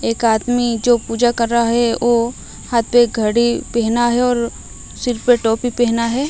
एक आदमी जो पूजा कर रहा है वो हाथ पे घड़ी पहना है और सिर पे टोपी पहना है।